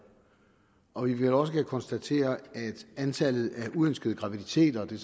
og når vi vel også kan konstatere at antallet af uønskede graviditeter og det